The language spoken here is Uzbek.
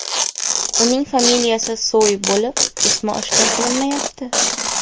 Uning familiyasi Soy bo‘lib, ismi oshkor qilinmayapti.